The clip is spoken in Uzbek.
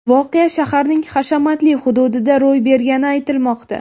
Voqea shaharning hashamatli hududida ro‘y bergani aytilmoqda.